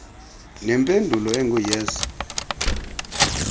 nempendulo engu yes